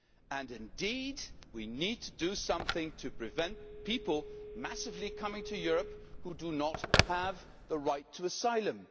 And indeed, we need to do something to prevent masses of people coming to Europe who do not have the right to asylum.